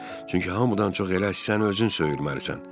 Çünki hamıdan çox elə sən özünü söyürməlisən.